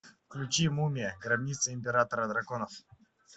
включи мумия гробница императора драконов